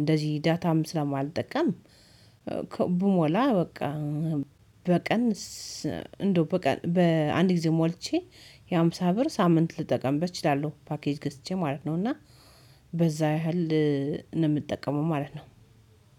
እንደዚህ ዳታም ስለማልጠቀም ብሞላ በቃ በቀን እንደው በቀን በአንድ ጊዜ ሞልቼ የሃምሳ ብር ሳምንት ልጠቀምበት እችላለሁ ፓኬጅ ገስቼ ማለት ነው እና በዛ ያህል ነው የምጠቀመው ማለት ነው።